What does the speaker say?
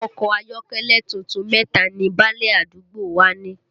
Ọkọ ayọ́kẹ́lẹ́ tuntun mẹ́ta ni báálẹ̀ àdúgbò wa ní